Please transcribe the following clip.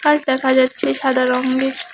দেখা যাচ্ছে সাদা রংয়ের।